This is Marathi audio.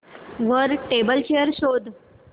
वर टेबल चेयर शोध